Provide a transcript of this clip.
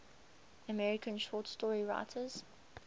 american short story writers